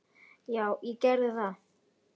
Já, ég geri það.